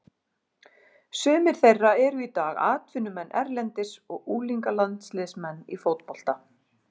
Sumir þeirra eru í dag atvinnumenn erlendis og unglingalandsliðsmenn í fótbolta.